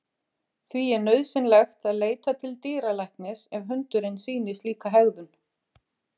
Því er nauðsynlegt að leita til dýralæknis ef hundurinn sýnir slíka hegðun.